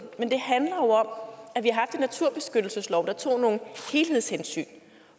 men det handler jo om at vi har haft naturbeskyttelseslov der tog nogle helhedshensyn